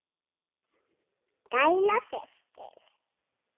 Kæra systir.